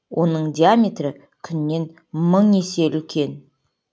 оның диаметрі күннен мың есе үлкен